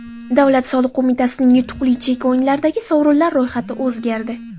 Davlat soliq qo‘mitasining yutuqli chek o‘yinlaridagi sovrinlar ro‘yxati o‘zgardi.